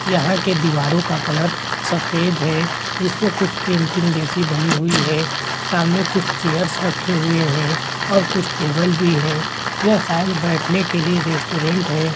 यहाँ के दिवारों का कलर सफ़ेद है जिसमें कुछ पेंटिंग जैसे बनी हुई है सामने कुछ चेयर्स रखे हुई है और कुछ टेबल भी है ये शायद बेठने के लिए रेस्टोरेंट है।